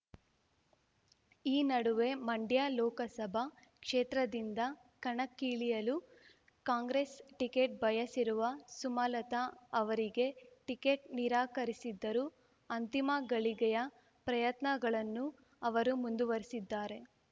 ಈ ನಡುವೆ ಮಂಡ್ಯ ಲೋಕಸಭಾ ಕ್ಷೇತ್ರದಿಂದ ಕಣಕ್ಕಿಳಿಯಲು ಕಾಂಗ್ರೆಸ್ ಟಿಕೆಟ್ ಬಯಸಿರುವ ಸುಮಲತ ಅವರಿಗೆ ಟಿಕೆಟ್ ನಿರಾಕರಿಸಿದ್ದರೂ ಅಂತಿಮ ಗಳಿಗೆಯ ಪ್ರಯತ್ನಗಳನ್ನು ಅವರು ಮುಂದುವರೆಸಿದ್ದಾರೆ